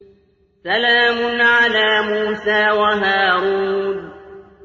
سَلَامٌ عَلَىٰ مُوسَىٰ وَهَارُونَ